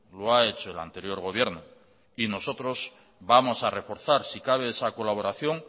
lo ha hecho el anterior gobierno y nosotros vamos a reforzar si cabe esa colaboración